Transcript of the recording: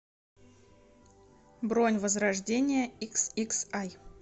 бронь возрождение иксиксай